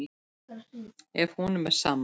Ef honum er sama.